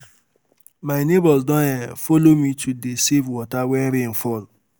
My neighbours don um follow me to um dey um save water wen rain fall